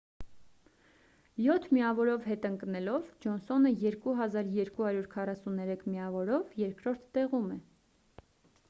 յոթ միավորով հետ ընկնելով ջոնսոնը 2 243 միավորով երկրորդ տեղում է